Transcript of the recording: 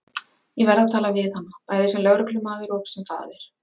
Ég verð að tala við hana, bæði sem lögreglumaður og sem faðir.